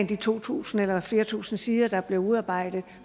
de to tusind eller flere tusinde sider der blev udarbejdet